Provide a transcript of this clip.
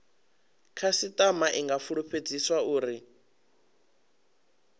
khasitama i nga fulufhedziswa uri